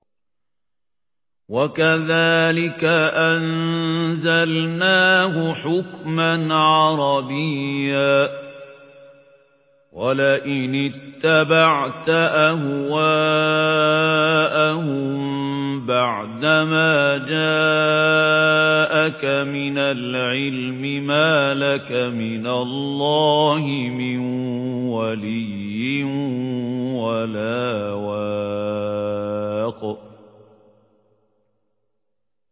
وَكَذَٰلِكَ أَنزَلْنَاهُ حُكْمًا عَرَبِيًّا ۚ وَلَئِنِ اتَّبَعْتَ أَهْوَاءَهُم بَعْدَمَا جَاءَكَ مِنَ الْعِلْمِ مَا لَكَ مِنَ اللَّهِ مِن وَلِيٍّ وَلَا وَاقٍ